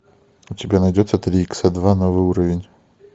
у тебя найдется три икса два новый уровень